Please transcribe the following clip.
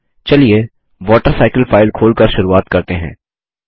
चलिए water cycle file खोलकर शुरुवात करते हैं